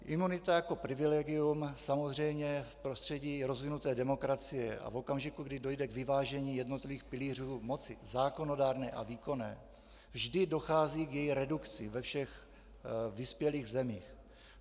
Imunita jako privilegium samozřejmě v prostředí rozvinuté demokracie a v okamžiku, kdy dojde k vyvážení jednotlivých pilířů moci zákonodárné a výkonné, vždy dochází k její redukci ve všech vyspělých zemích.